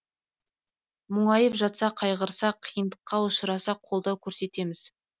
мұңайып жатса қайғырса қиындыққа ұшыраса қолдау көрсетеміз